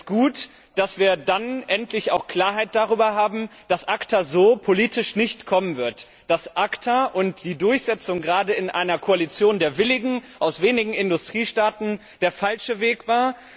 Es ist gut, dass wir dann endlich auch Klarheit darüber haben, dass ACTA so politisch nicht kommen wird, dass ACTA und die Durchsetzung gerade in einer Koalition der Willigen aus wenigen Industriestaaten der falsche Weg war.